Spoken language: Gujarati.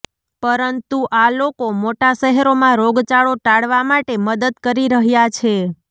પરંતુ આ લોકો મોટા શહેરોમાં રોગચાળો ટાળવા માટે મદદ કરી રહ્યાં છે